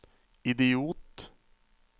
idiot